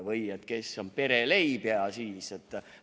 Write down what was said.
Või kes on Pere Leib jne.